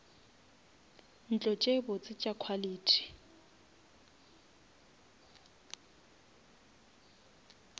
ntlo tše botse tša quality